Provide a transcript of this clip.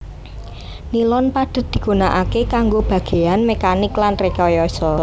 Nilon padhet digunakaké kanggo bagéyan mekanik lan rekayasa